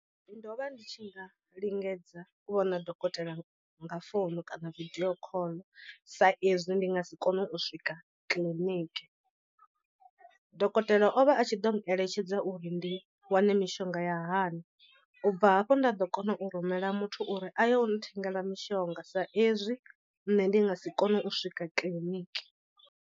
Ndo vha ndi tshi nga lingedza u vhona dokotela nga founu kana vidio call sa ezwi ndi nga si kone u swika kiḽiniki. Dokotela o vha a tshi ḓo n eletshedza uri ndi wane mishonga ya hani u bva hafho nda ḓo kona u rumela muthu uri a ye u nthengela mishonga sa ezwi nṋe ndi nga si kone u swika kiḽiniki.